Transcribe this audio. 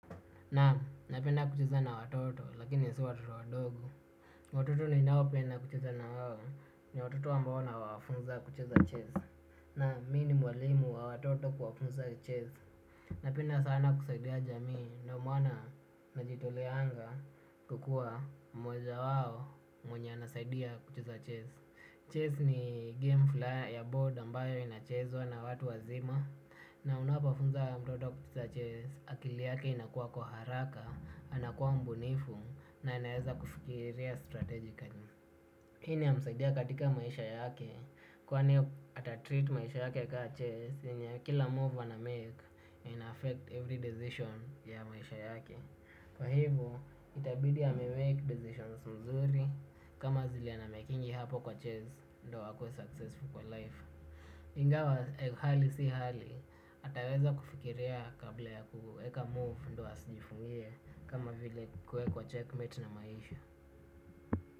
Naam, napenda kucheza na watoto lakini si watoto wadogo. Watoto ninaopenda kucheza na wao ni watoto ambao nawafunza kucheza chess. Naam, mimi ni mwalimu wa watoto kuwafunza ches. Napenda sana kusaidia jamii na umuhimu na kujitolea kuwa mweza wao mwenye anasaidia kucheza chess. Chess ni game fulani ya board ambayo inachezwa na watu wazima. Na unapofunza mtoto kucheza chess akili yake inakuwa kwa haraka. Anakuwa mbunifu na anaweza kufikiria strategically. Hii inamsaidia katika maisha yake. Kwani atatreat maisha yake kama chess, kila move anamake, inaaffect every decision ya maisha yake, kwa hivyo itabidi amemake decisions mzuri. Kama zile anamakingi hapo kwa chase ndiyo wakue successful kwa life. Ingawa hali si hali ataweza kufikiria kabla ya kuweka move, ndio asijifungie kama vile kuwakwa checkmate na maisha.